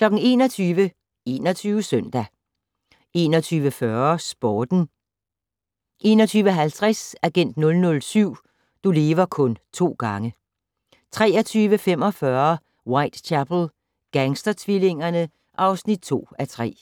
21:00: 21 Søndag 21:40: Sporten 21:50: Agent 007 - du lever kun to gange 23:45: Whitechapel: Gangstertvillingerne (2:3)